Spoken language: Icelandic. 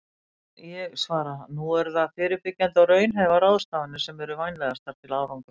En ég svara: Nú eru það fyrirbyggjandi og raunhæfar ráðstafanir sem eru vænlegastar til árangurs.